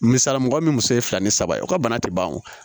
Misali mɔgɔ min muso ye fila ni saba ye o ka bana tɛ ban o